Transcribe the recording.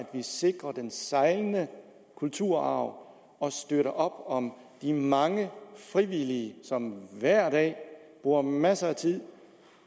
vi sikrer den sejlende kulturarv og støtter op om de mange frivillige som hver dag bruger masser af tid